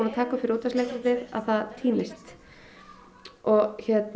taka upp fyrir útvarpsleikritið það týnist og